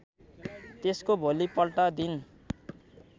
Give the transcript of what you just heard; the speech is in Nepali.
त्यसको भोलिपल्ट दिन